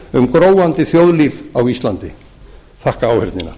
gróandi þjóðlíf á íslandi ég þakka áheyrnina